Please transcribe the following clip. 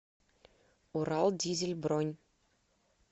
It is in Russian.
урал дизель бронь